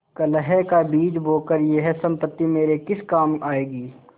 कलह का बीज बोकर यह सम्पत्ति मेरे किस काम आयेगी